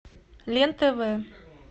лен тв